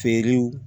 Feerew